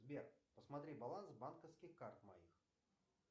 сбер посмотри баланс банковских карт моих